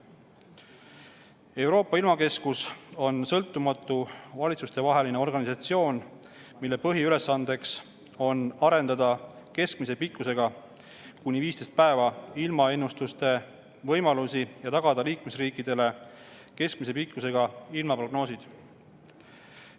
Euroopa ilmakeskus on sõltumatu valitsustevaheline organisatsioon, mille põhiülesandeks on arendada keskmise pikkusega, kuni 15 päeva, ilmaennustuste võimalusi ja tagada liikmesriikidele keskmise pikkusega ilmaprognoosid.